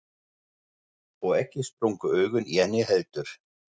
Og ekki sprungu augun í henni heldur.